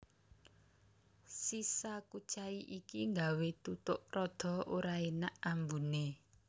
Sisa kucai iki nggawé tutuk rada ora énak ambuné